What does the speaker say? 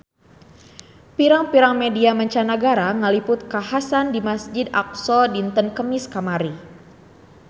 Pirang-pirang media mancanagara ngaliput kakhasan di Masjid Aqsa dinten Kemis kamari